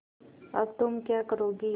अब तुम क्या करोगी